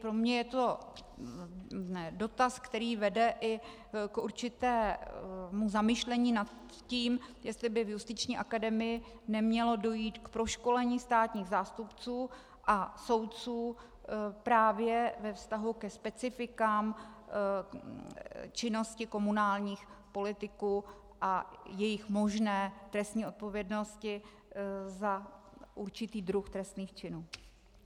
Pro mě je to dotaz, který vede i k určitému zamyšlení nad tím, jestli by v Justiční akademii nemělo dojít k proškolení státních zástupců a soudců právě ve vztahu ke specifikům činnosti komunálních politiků a jejich možné trestní odpovědnosti za určitý druh trestných činů.